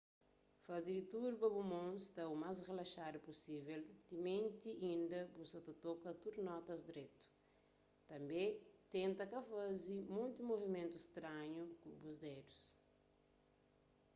faze di tudu pa bu mon sta u más rilaxadu pusível timenti inda bu sa ta toka tudu notas dretu tanbê tenta ka faze monti muvimentu stranhu ku bu dedus